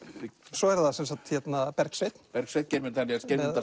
svo er það Bergsveinn Bergsveinn Geirmundar